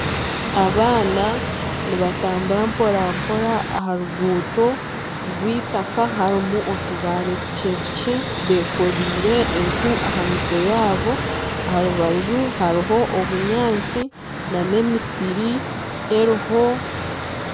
Abaana nibatambura mporampora aha ruguuto rwitaka harimu otubare tukyetukye beekoreire enku aha mitwe yaabo aha rubaju hariho obunyaatsi nana emisiri eriho